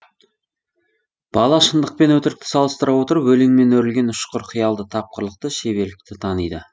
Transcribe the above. бала шындық пен өтірікті салыстыра отырып өлеңмен өрілген ұшқыр қиялды тапқырлықты шеберлікті таниды